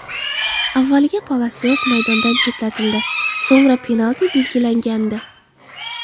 Avvaliga Palasios maydondan chetlatildi, so‘ngra penalti belgilangandi.